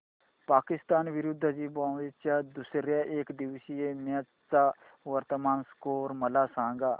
पाकिस्तान विरुद्ध झिम्बाब्वे च्या दुसर्या एकदिवसीय मॅच चा वर्तमान स्कोर मला सांगा